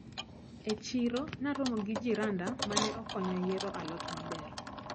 E chiro naromo gi jiranda mane okonya yiero a lot maber.